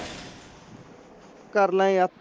ਕਰਨਾ ਆ